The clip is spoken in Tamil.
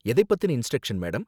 எதை பத்தின இன்ஸ்ட்ரக்ஷன் மேடம்